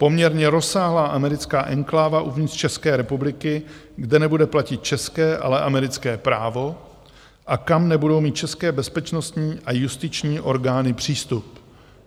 Poměrně rozsáhlá americká enkláva uvnitř České republiky, kde nebude platit české, ale americké právo a kam nebudou mít české bezpečnostní a justiční orgány přístup.